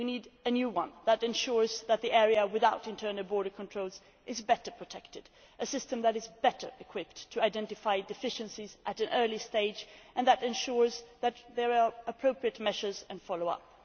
We need a new one that ensures that the area without internal border controls is better protected, a system that is better equipped to identify deficiencies at an early stage and that ensures that there are appropriate measures and follow ups.